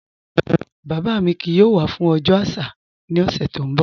Baba mi kíì yóò wà fún ọjọ́ aṣà ni ọ̀ṣẹ̀ tí n bọ̀.